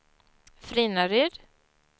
Frinnaryd